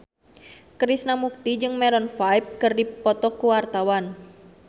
Krishna Mukti jeung Maroon 5 keur dipoto ku wartawan